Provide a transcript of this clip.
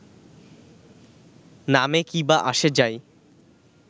নামে কী বা আসে যায়